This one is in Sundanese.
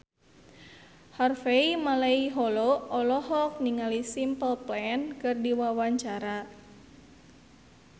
Harvey Malaiholo olohok ningali Simple Plan keur diwawancara